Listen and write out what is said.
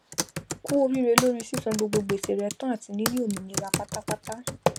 kú oríre lóri sísan gbogbo gbèsè re tán àti níní òmìnira pátápátá